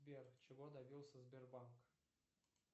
сбер чего добился сбербанк